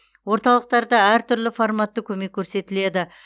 орталықтарда әртүрлі форматты көмек көрсетіледі